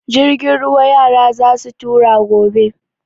Jirgin ruwa yara za su tura gobe.